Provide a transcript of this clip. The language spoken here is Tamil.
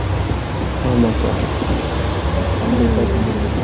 ஆமாக்கா. கண்டிப்பா சொல்லி குடுக்கணும்